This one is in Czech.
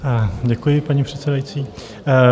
Děkuji, paní předsedající.